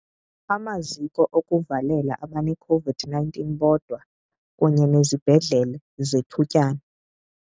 Amaziko okuvalela abaneCOVID-19 bodwa kunye nezibhedlele zethutyana.